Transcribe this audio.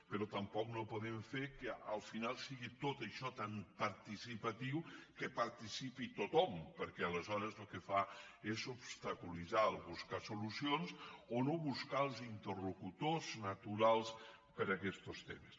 però tampoc no po·dem fer que al final sigui tot això tan participatiu que hi participi tothom perquè aleshores el que fa és obs·taculitzar buscar solucions o no buscar els interlocu·tors naturals per a aquestos temes